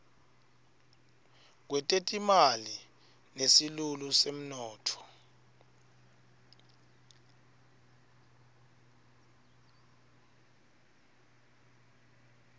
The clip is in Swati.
kwetetimali nesilulu semnotfo